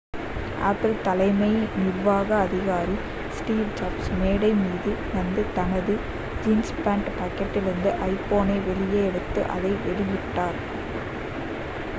apple தலைமை நிர்வாக அதிகாரி ஸ்டீவ் ஜாப்ஸ் மேடை மீது வந்து தனது ஜீன்ஸ் பேண்ட் பாக்கெட்டிலிருந்து ஐபோனை வெளியே எடுத்து அதை வெளியிட்டார்